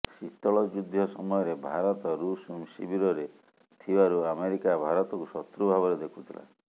ଶୀତଳ ଯୁଦ୍ଧ ସମୟରେ ଭାରତ ଋଷ ଶିବିରରେ ଥିବାରୁ ଆମେରିକା ଭାରତକୁ ଶତ୍ରୁ ଭାବରେ ଦେଖୁଥିଲା